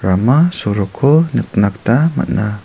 rama soroko nikna gita man·a.